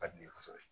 Ka di ne ye kosɛbɛ